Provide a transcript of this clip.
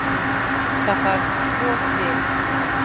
Þar þarf tvo til.